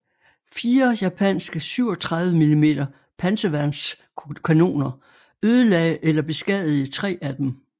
Fire japanske 37 mm panserværnskanoner ødelagde eller beskadigede 3 af dem